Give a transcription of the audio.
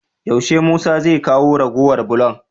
Yaushe musa zai kawo ragowar bulon?